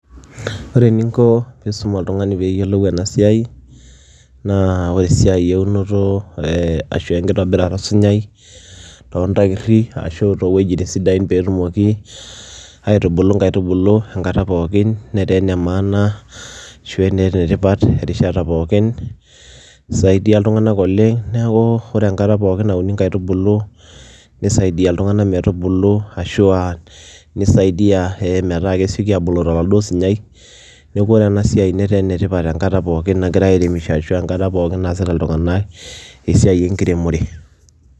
Ore eninko pisum oltungani peyiolou enasiai naa oresiai eunoto ashu enkitobirata osunyai tontairi ashu towuejitin sidan peetumoki aitubulu nkaitubulu enkata pookin netaa enemaana ashu enetipat erishata pookin, isaidia ltunganak pookin neaku ore enkata pookin nauni nkaitubulu nisaidia ltunganak metubulu ashu a nisaidia metaa kesieki abulu toladuo sunyai neaku ore enasiai netaa enetipat tenkata pookin nagirai aremisho ashu enkata naasita ltunganak esiai enkiremore.